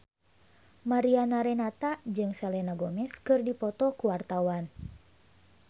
Mariana Renata jeung Selena Gomez keur dipoto ku wartawan